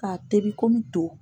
K'a tɛbi kɔmi to.